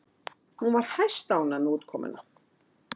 Hún var hæstánægð með útkomuna